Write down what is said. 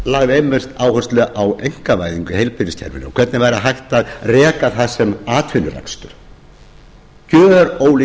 lagði einmitt áherslu á einkavæðingu í heilbrigðiskerfinu og hvernig væri hægt að reka það sem atvinnurekstur gjörólíkur